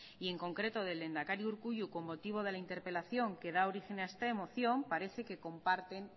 y en concreto del lehendakari urkullu con motivo de la interpelación que da origen a esta moción parece que comparten